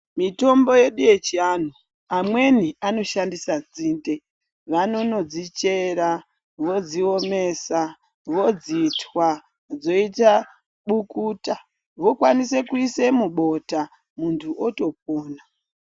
Mitombo yedu yechiantu amweni anoshandisa dzinde vanonodzichera, vodziomesa, vodzitwa dzoita bukuta vokwanise kuisa mubota muntu otopona.